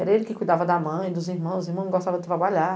Era ele que cuidava da mãe, dos irmãos, os irmãos não gostavam de trabalhar.